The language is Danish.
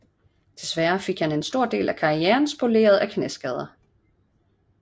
Desværre fik han en stor del af karrieren spoleret af knæskader